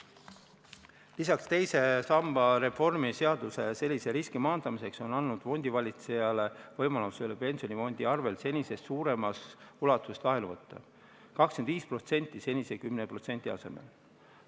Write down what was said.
Lisaks on teise samba reformi seadusega sellise riski maandamiseks antud fondivalitsejale võimalus pensionifondi arvel senisest suuremas ulatuses laenu võtta: 25% senise 10% asemel.